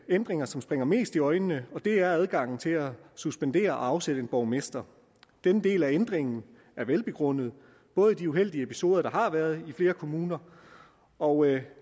ændringer som springer mest i øjnene og det er adgangen til at suspendere og afsætte en borgmester den del af ændringen er velbegrundet både i de uheldige episoder der har været i flere kommuner og